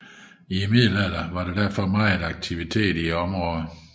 I middelalderen har der derfor været megen aktivitet i området